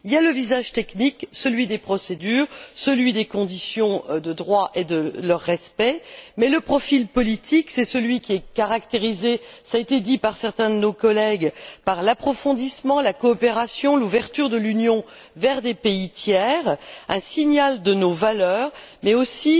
Il y a le visage technique, celui des procédures, celui des conditions de droit et de respect, mais aussi le profil politique, qui est caractérisé ça été dit par certains de mes collègues par l'approfondissement, la coopération, l'ouverture de l'Union vers des pays tiers, un signal de nos valeurs, mais il s'agit aussi